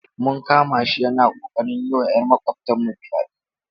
Mun kama shi yana ƙoƙarin yi wa ‘yar makwabtanmu fyade.